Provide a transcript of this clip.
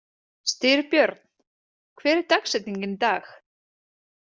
Styrbjörn, hver er dagsetningin í dag?